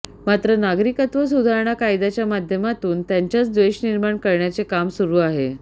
मात्र नागरिकत्व सुधारणा कायद्याच्या माध्यमातून त्यांच्यात द्वेष निर्माण करण्याचे काम सुरू आहे